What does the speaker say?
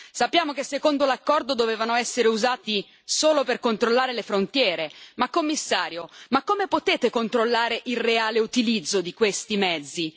Sappiamo che secondo l'accordo dovevano essere usati solo per controllare le frontiere, ma, Commissario, come potete controllare il reale utilizzo di questi mezzi?